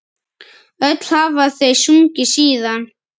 Öll hafa þau sungið síðan.